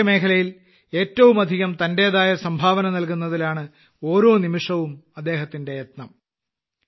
കാർഷികമേഖലയിൽ ഏറ്റവും അധികം തന്റേതായ സംഭാവന നൽകുന്നതിലാണ് ഓരോ നിമിഷവും അദ്ദേഹത്തിന്റെ യജ്ഞം